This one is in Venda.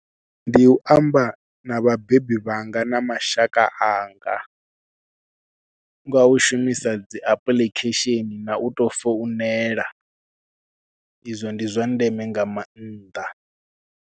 Ndi u amba na vhabebi vhanga na mashaka anga nga u shumisa dzi apuḽikhesheni na u tou founela, izwo ndi zwa ndeme nga manaḓa.